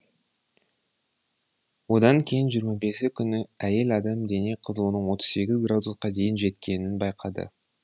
одан кейін жиырма бесі күні әйел адам дене қызуының отыз сегіз градусқа дейін жеткенін байқады